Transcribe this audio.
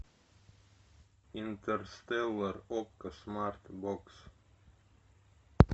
интерстеллар окко смарт бокс